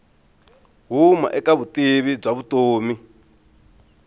huma eka vutivi bya vutomi